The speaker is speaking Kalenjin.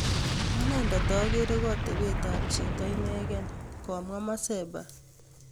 Aneendet ageere ko atebeet ap chiito ineegei," komwaa Mwaseba